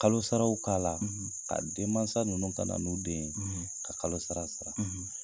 Kalo sararaww k'a la, ka den mansa ninnu ka na n'u den ye ka kalo sara sara.